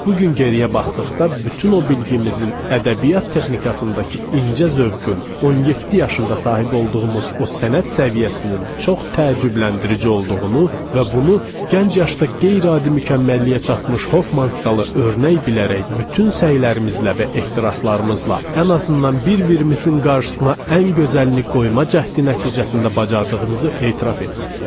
Bu gün geriyə baxdıqda bütün o bilgimizin, ədəbiyyat texnikasındakı incə zövqün, 17 yaşında sahib olduğumuz o sənət səviyyəsinin çox təəccübləndirici olduğunu və bunu gənc yaşda qeyri-adi mükəmməlliyə çatmış Hoffmanstalı örnək bilərək bütün səylərimizlə və ehtiraslarımızla ən azından bir-birimizin qarşısına ən gözəlini qoyma cəhdi nəticəsində bacardığımızı etiraf etməliyəm.